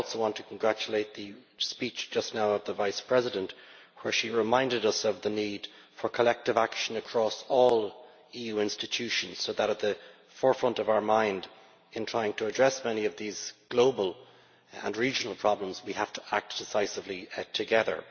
I also want to congratulate the High Representative on her speech just now, where she reminded us of the need for collective action across all EU institutions so that, at the forefront of our mind, in trying to address many of these global and regional problems, we have to act decisively together.